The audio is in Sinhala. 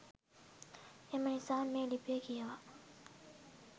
එම නිසා මේ ලිපිය කියවා